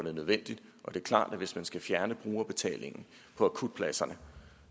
er nødvendigt det er klart at hvis man skal fjerne brugerbetalingen på akutpladserne